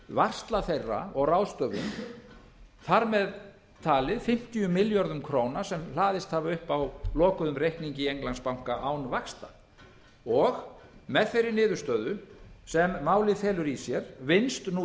varsla þeirra og ráðstöfun þar með talið fimmtíu milljörðum króna sem hlaðist hafa upp á lokuðum reikningi í englandsbanka án vaxta og með þeirri niðurstöðu sem málið felur í sér vinnst á